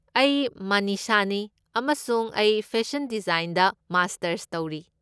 ꯑꯩ ꯃꯅꯤꯁꯥꯅꯤ, ꯑꯃꯁꯨꯡ ꯑꯩ ꯐꯦꯁꯟ ꯗꯤꯖꯥꯏꯟꯗ ꯃꯥꯁꯇꯔꯁ ꯇꯧꯔꯤ꯫